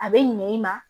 A bɛ ɲinɛ i ma